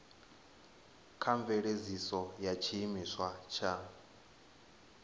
tsha mveledziso ya tshiimiswa tsha